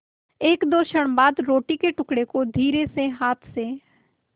एकदो क्षण बाद रोटी के टुकड़े को धीरेसे हाथ से